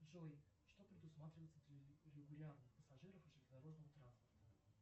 джой что предусматривается для регулярных пассажиров железнодорожного транспорта